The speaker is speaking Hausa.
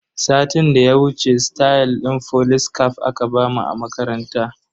Satin da ya wuce stayal din folis caf aka bamu a makaranta.